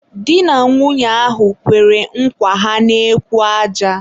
di na nwunye ahụ kwere nkwa ha n'ekwu aja.